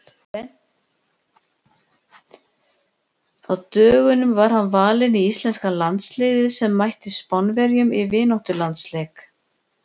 Á dögunum var hann valinn í íslenska landsliðið sem mætti Spánverjum í vináttulandsleik.